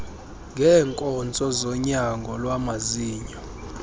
ngeenkonzo zonyango lwamazinyo